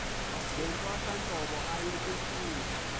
ngentwasahlobo aye kufuna